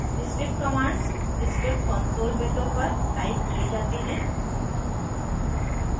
script commands script console window पर type किये जाते हैं